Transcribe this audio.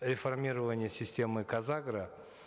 реформирование системы казагро